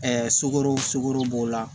sugoro sukoro b'o la